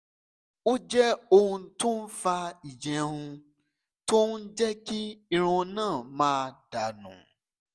ó jẹ́ ohun tó ń fa ìjẹun tó ń jẹ́ kí irun náà máa dà nù